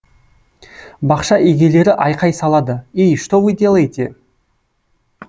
бақша егелері айқай салады ей что вы делаете